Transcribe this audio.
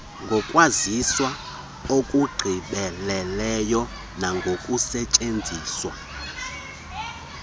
ngokwaziwa okugqibeleleyo nangokusetyenziswa